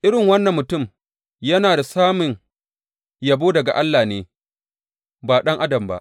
Irin wannan mutum yana samun yabo daga Allah ne, ba ɗan adam ba.